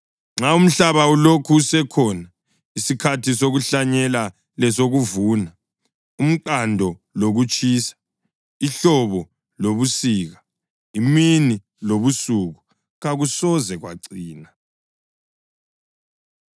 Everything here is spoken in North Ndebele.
Nxa umhlaba ulokhu usekhona, isikhathi sokuhlanyela lesokuvuna, umqando lokutshisa, ihlobo lobusika, imini lobusuku kakusoze kwacina.”